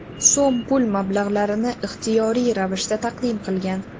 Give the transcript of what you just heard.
so‘m pul mablag‘larini ixtiyoriy ravishda taqdim qilgan.